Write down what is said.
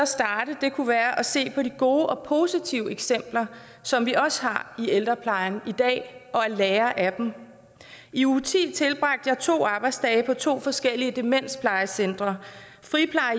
starte kunne være at se på de gode og positive eksempler som vi også har i ældreplejen i dag og at lære af dem i uge ti tilbragte jeg to arbejdsdage på to forskellige demensplejecentre